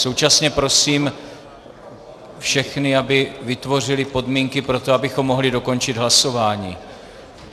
Současně prosím všechny, aby vytvořili podmínky pro to, abychom mohli dokončit hlasování.